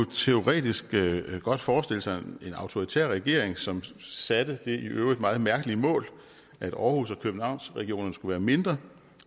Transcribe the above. teoretisk godt forestille sig en autoritær regering som satte det i øvrigt meget mærkelige mål at aarhus og københavnsregionerne skulle være mindre